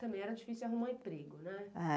Também era difícil arrumar emprego, né?